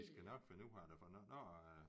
De skal nok finde ud af det for nu